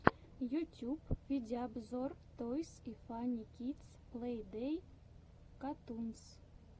ютюб видеообзор тойс и фанни кидс плей дей катунс